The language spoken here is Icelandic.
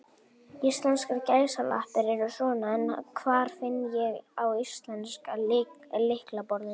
Íslenskar gæsalappir eru svona, en hvar finn ég á íslenska lyklaborðinu?